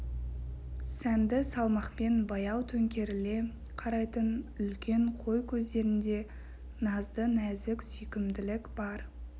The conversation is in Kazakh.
сәнді салмақпен баяу төңкеріле қарайтын үлкен қой көздерінде назды нәзік сүйкімділік бар